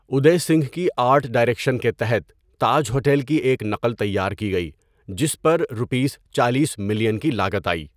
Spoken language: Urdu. اودے سنگھ کی آرٹ ڈائریکشن کے تحت تاج ہوٹل کی ایک نقل تیار کی گئی جس پر روپیس چالیس ملین کی لاگت آئی.